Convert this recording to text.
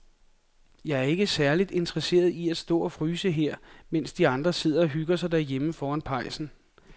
Jeg er ikke særlig interesseret i at stå og fryse her, mens de andre sidder og hygger sig derhjemme foran pejsen.